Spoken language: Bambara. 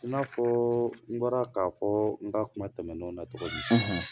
I n'a fɔɔ n bɔra k'a fɔ n ka kuma tɛmɛn n'o na togo min;